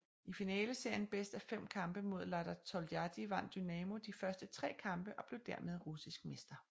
I finaleserien bedst af fem kampe mod Lada Toljatti vandt Dynamo de første tre kampe og blev dermed russisk mester